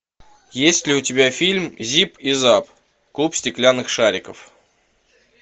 есть ли у тебя фильм зип и зап клуб стеклянных шариков